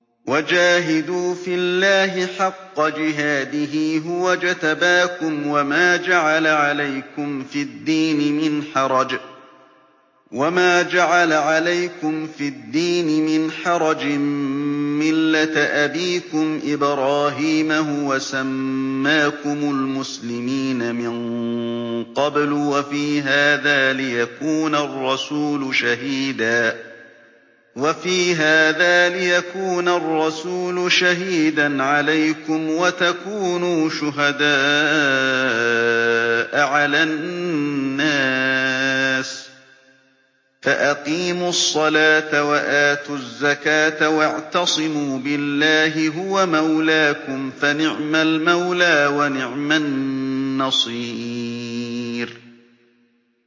وَجَاهِدُوا فِي اللَّهِ حَقَّ جِهَادِهِ ۚ هُوَ اجْتَبَاكُمْ وَمَا جَعَلَ عَلَيْكُمْ فِي الدِّينِ مِنْ حَرَجٍ ۚ مِّلَّةَ أَبِيكُمْ إِبْرَاهِيمَ ۚ هُوَ سَمَّاكُمُ الْمُسْلِمِينَ مِن قَبْلُ وَفِي هَٰذَا لِيَكُونَ الرَّسُولُ شَهِيدًا عَلَيْكُمْ وَتَكُونُوا شُهَدَاءَ عَلَى النَّاسِ ۚ فَأَقِيمُوا الصَّلَاةَ وَآتُوا الزَّكَاةَ وَاعْتَصِمُوا بِاللَّهِ هُوَ مَوْلَاكُمْ ۖ فَنِعْمَ الْمَوْلَىٰ وَنِعْمَ النَّصِيرُ